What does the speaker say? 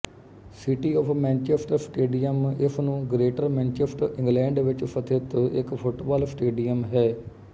city of Manchester stadium ਇਸ ਨੂੰ greater Manchester England ਵਿੱਚ ਸਥਿਤ ਇੱਕ ਫੁੱਟਬਾਲ ਸਟੇਡੀਅਮ ਹੈ